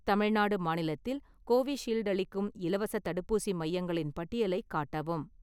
தமிழ்நாடு மாநிலத்தில் கோவிஷீல்டு அளிக்கும் இலவசத் தடுப்பூசி மையங்களின் பட்டியலைக் காட்டவும்.